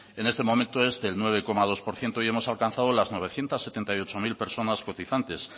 en este momento es de nueve coma dos por ciento y hemos alcanzado las novecientos setenta y ocho mil personas cotizantes